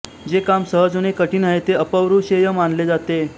जे काम सहज होणे कठीण आहे ते अपौरुषेय मानले जाते